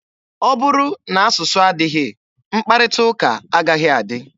Ọ bụrụ na asụsụ adịghị, mkparịta ụka agaghị adị.